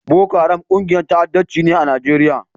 Boko Haram ƙungiyar ta'addanci ce a Nijeriya.